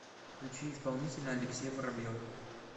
включи исполнителя алексей воробьев